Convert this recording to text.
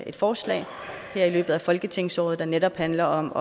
et forslag her i løbet af folketingsåret der netop handler om